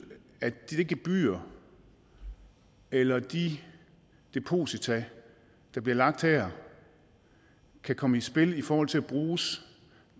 at de gebyrer eller de deposita der bliver lagt her kan komme i spil i forhold til at bruges